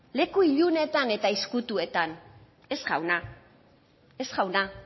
leku ilunetan eta ezkutuetan ez jauna ez jauna